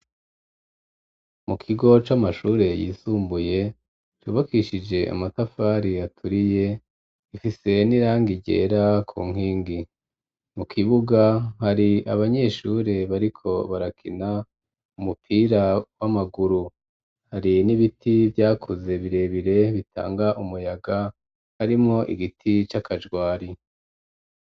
Mu kigo c'amashure yisumbuye cubakishije amatafari aturiye ifise n'irangi ryera ku nkingi mu kibuga hari abanyeshure bariko barakina umupira w'amaguru hari n'ibiti vyakuze birebire bitanga umuyaga harimwo igiti c'akajwari.